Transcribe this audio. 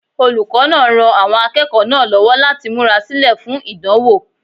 Olùkọ́ náà ran àwọn akẹ́kọ̀ọ́ náà lọ́wọ́ láti múra sílẹ̀ fún ìdánwò.